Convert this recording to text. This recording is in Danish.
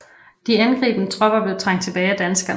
De angribende tropper blev trængt tilbage af danskerne